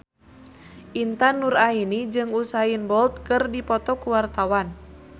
Intan Nuraini jeung Usain Bolt keur dipoto ku wartawan